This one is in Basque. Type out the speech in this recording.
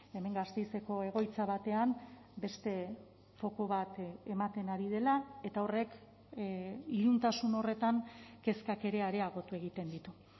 hemen gasteizeko egoitza batean beste foku bat ematen ari dela eta horrek iluntasun horretan kezkak ere areagotu egiten ditu